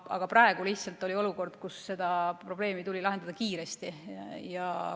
Aga praegu lihtsalt oli olukord, et see probleem tuli lahendada kiiresti.